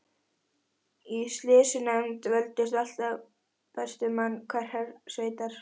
Í sýslunefnd völdust alltaf bestu menn hverrar sveitar.